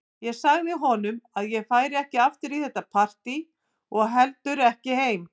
Ég sagði honum að ég færi ekki aftur í þetta partí og ekki heldur heim.